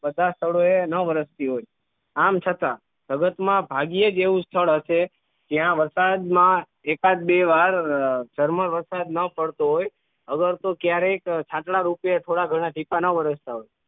બધા સ્થળોએ ના વરસતી હોય આમ છતાં જગતમાં ભાગ્ય જેવું સ્થળ હશે જ્યાં વરસાદમાં એકાદ બે વાર વરસાદ ના પડતું હોય અગર તો ક્યારેક આટલા રૂપીને થોડા ઘણા ટીપા ના વરસતા હોય